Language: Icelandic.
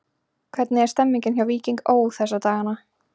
Hvernig er stemningin hjá Víkingi Ó. þessa dagana?